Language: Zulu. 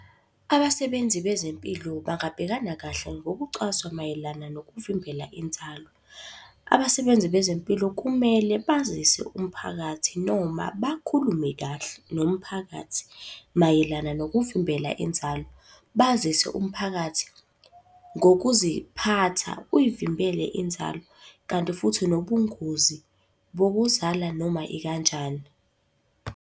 Abasebenzi bezempilo bangabhekana kahle ngokucwaswa mayelana nokuvimbela inzalo. Abasebenzi bezempilo kumele bazise umphakathi noma bakhulume kahle nomphakathi mayelana nokuvimbela inzalo. Bazise umphakathi ngokuziphatha uyivimbele inzalo, kanti futhi nobungozi bokuzala noma ikanjani.